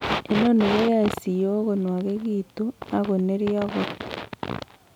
Inoni koyoe siyok konwokitun ak ak kinorio kot.